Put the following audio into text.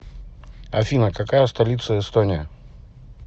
афина какая столица эстония